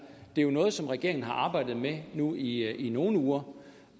det er jo noget som regeringen har arbejdet med nu i nogle uger